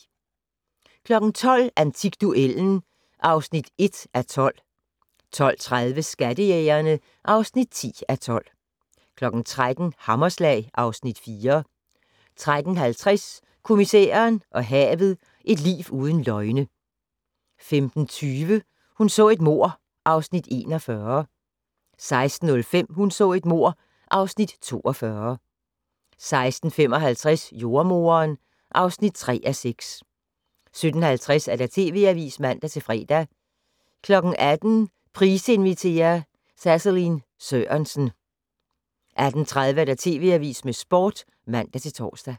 12:00: Antikduellen (1:12) 12:30: Skattejægerne (10:12) 13:00: Hammerslag (Afs. 4) 13:50: Kommissæren og havet: Et liv uden løgne 15:20: Hun så et mord (Afs. 41) 16:05: Hun så et mord (Afs. 42) 16:55: Jordemoderen (3:6) 17:50: TV Avisen (man-fre) 18:00: Price inviterer - Saseline Sørensen 18:30: TV Avisen med Sporten (man-tor)